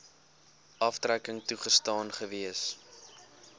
aftrekking toegestaan gewees